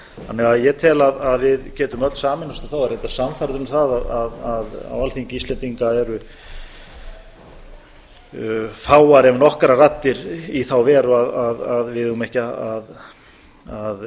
þannig að ég tel að við getum öll sameinast um það og er reyndar sannfærður um það að á alþingi íslendinga eru fáar ef nokkrar raddir í þá veru að við eigum ekki að